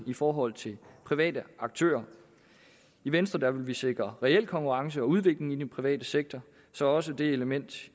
i forhold til private aktører i venstre vil vi sikre reel konkurrence og udvikling i den private sektor så også det element